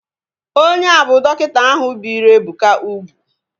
Onye a bụ dọkịta ahu biri Ebuka ugwu